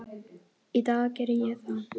Í dag geri ég það.